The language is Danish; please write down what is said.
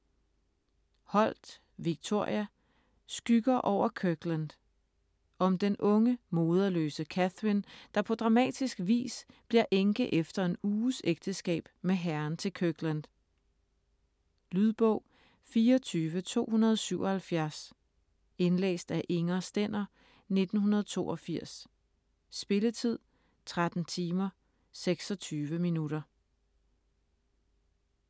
Holt, Victoria: Skygger over Kirkland Om den unge, moderløse Catherine, der på dramatisk vis bliver enke efter en uges ægteskab med herren til Kirkland. Lydbog 24277 Indlæst af Inger Stender, 1982. Spilletid: 13 timer, 26 minutter.